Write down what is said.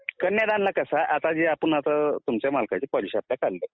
कन्यादान चं कसं आहे आता जे आपण तुमच्या मालकाची पॉलिसी काढली